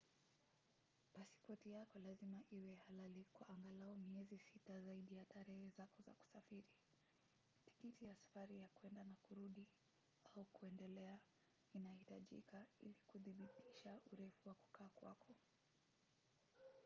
pasipoti yako lazima iwe halali kwa angalau miezi 6 zaidi ya tarehe zako za kusafiri. tikiti ya safari ya kwenda na kurudi/kuendelea inahitajika ili kudhibitisha urefu wa kukaa kwako